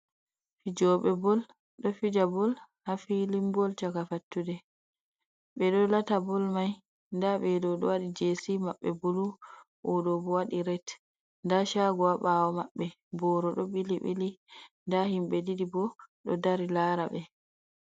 Fjoɓe bol ɗo fija bol ha filin bol caka fatude, ɓe ɗo lata bol mai , nda ɓeɗo ɗo wadi jesi maɓɓe bulu oɗo wadi ret nda hago ha mbawo mabbe, boro do ɓili ɓili nda himɓe ɗiɗi bo ɗo dari lara ɓe.